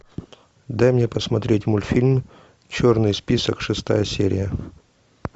дай мне посмотреть мультфильм черный список шестая серия